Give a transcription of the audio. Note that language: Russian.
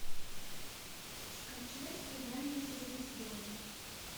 скачай свидание со звездой